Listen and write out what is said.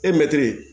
E mɛtiri